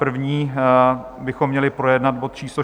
První bychom měli projednat bod číslo